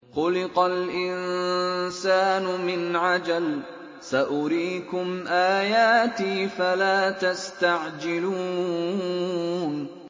خُلِقَ الْإِنسَانُ مِنْ عَجَلٍ ۚ سَأُرِيكُمْ آيَاتِي فَلَا تَسْتَعْجِلُونِ